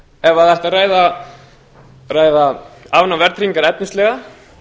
ef ætti að ræða afnám verðtryggingar efnislega